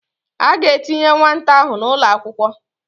A ga-etinye nwata ahụ n'ụlọakwụkwọ